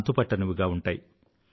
అంతుపట్టనివిగా ఉంటాయి